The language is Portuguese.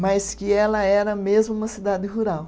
mas que ela era mesmo uma cidade rural.